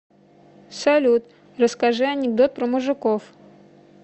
салют расскажи анекдот про мужиков